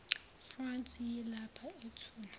france yilapha ethula